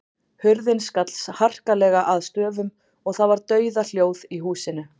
Hurðin skall harkalega að stöfum og það var dauðahljóð í húsinu.